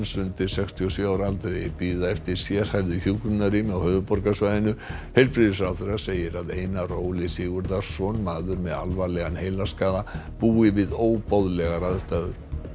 undir sextíu og sjö ára aldri bíða eftir sérhæfðu hjúkrunarrými á höfuðborgarsvæðinu heilbrigðisráðherra segir að Einar Óli Sigurðarson maður með alvarlegan heilaskaða búi við óboðlegar aðstæður